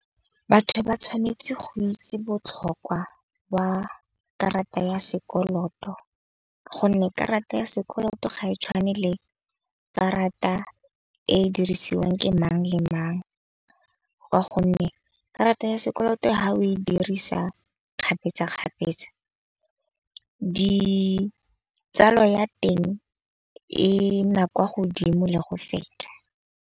Batho ba tshwanetse go itse botlhokwa ba karata ya sekoloto. Gonne karata ya sekoloto ga e tshwane le karata e dirisiwang ke mang le mang. Ka gonne karata ya sekoloto ha o e dirisa kgapetsakgapetsa ditsala ya teng e na kwa godimo le go feta.